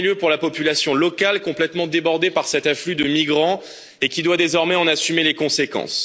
En premier lieu pour la population locale, complètement débordée par cet afflux de migrants et qui doit désormais en assumer les conséquences.